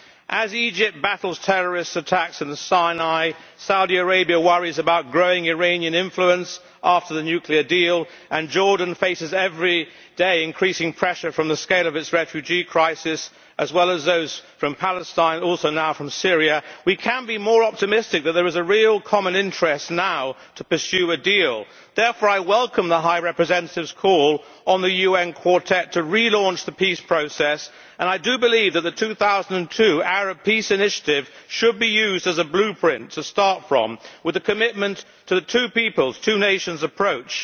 As Egypt battles terrorist attacks in the Sinai, Saudi Arabia worries about growing Iranian influence after the nuclear deal and Jordan faces every day increasing pressure from the scale of its refugee crisis, as well as those from Palestine also now from Syria we can be more optimistic that there is a real common interest now to pursue a deal. Therefore I welcome the High Representative's call to the UN Quartet to relaunch the peace process and I do believe that the 2002 Arab Peace Initiative should be used as a blueprint to start from, with the commitment to the two peoples two nations approach.